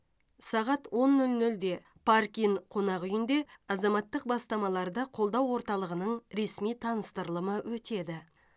сағат он нөл нөлде парк ин қонақ үйінде азаматтық бастамаларды қолдау орталығының ресми таныстырылымы өтеді